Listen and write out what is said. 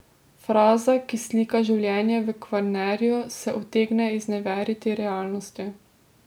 Fraza, ki slika življenje v Kvarnerju, se utegne izneveriti realnosti.